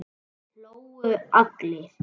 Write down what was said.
Þeir hlógu allir.